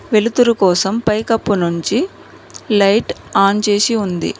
వెలుతురు కోసం పైకప్పు నుంచి లైట్ ఆన్ చేసి ఉంది.